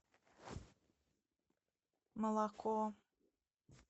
молоко